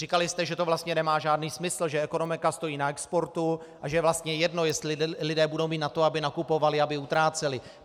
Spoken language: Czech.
Říkali jste, že to vlastně nemá žádný smysl, že ekonomika stojí na exportu a že je vlastně jedno, jestli lidé budou mít na to, aby nakupovali, aby utráceli.